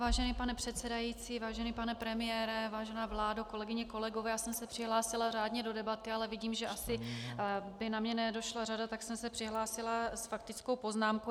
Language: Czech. Vážený pane předsedající, vážený pane premiére, vážená vládo, kolegyně, kolegové, já jsem se přihlásila řádně do debaty, ale vidím, že by asi na mě nedošla řada, tak jsem se přihlásila s faktickou poznámkou.